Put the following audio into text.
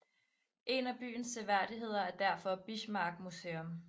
En af byens seværdigheder er derfor Bismarck Museum